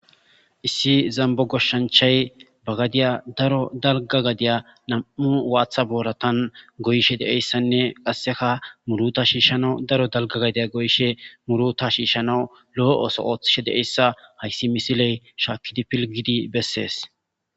Issi zambo goshshanchay bagadiya daro dalga gadiya nam'u waatha booratan goyshe deeyssanne qasseka muruta shiishshanau daro dalga gadiya goyishe muruta shiishanawu lo'o oso ooththishe deeyssa hayssi misiley shaakidi pilgidi bessees.